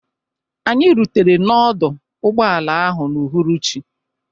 Anyị rutere n'ọdọ ụgbọala ahụ n'uhuruchi.